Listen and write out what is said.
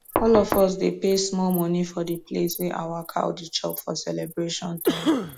all of us dey pay small money for d place wey our cow dey chop for celebration time